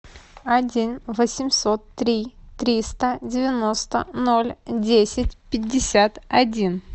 один восемьсот три триста девяносто ноль десять пятьдесят один